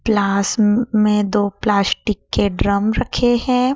Class में दो plastic के ड्रम रखे हैं।